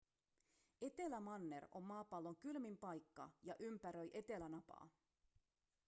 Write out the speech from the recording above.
etelämanner on maapallon kylmin paikka ja ympäröi etelänapaa